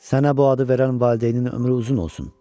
Sənə bu adı verən valideynin ömrü uzun olsun.